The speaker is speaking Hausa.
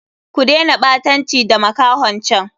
Ku dena ɓatanci da makahon can!